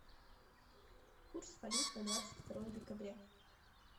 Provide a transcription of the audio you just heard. курс валют на двадцать второе декабря